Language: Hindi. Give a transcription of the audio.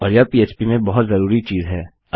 और यह पह्प में बहुत ज़रूरी चीज़ है